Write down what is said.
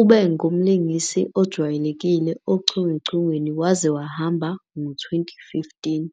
Ube ngumlingisi ojwayelekile ochungechungeni waze wahamba ngo-2015.